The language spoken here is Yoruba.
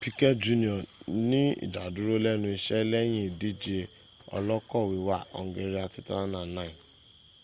piquet jr ní ìdádúró lẹ́nu iṣẹ́ lẹ́yìn idíje ọ́lọ̀kọ̀ wíwà hungaria 2009